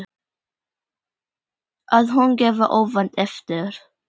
Að hún gefi óvænt eftir.